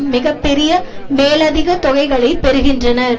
மிக பெரிய மேலதிக தொகைகளை பெறுகின்றனர்